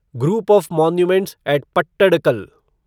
group of monuments at Pattadakal